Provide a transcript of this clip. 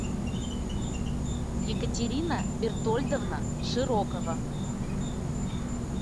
екатерина бертольдовна широкова